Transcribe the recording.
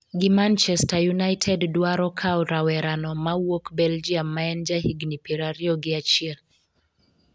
gi Manchester United dwaro kawo rawera no ma wuok Belgium ma en jahigni piero ariyo gi achiel